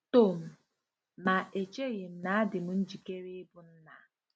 Tom: Ma echeghị m na adịm njikere ịbụ nna!